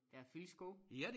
Der er Filskov